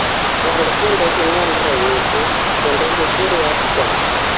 rang kendo inon ranyisis kendo ikir yath chon